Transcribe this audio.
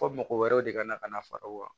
Fɔ mɔgɔ wɛrɛw de ka na ka na fara u kan